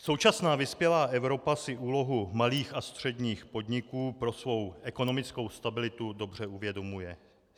Současná vyspělá Evropa si úlohu malých a středních podniků pro svou ekonomickou stabilitu dobře uvědomuje.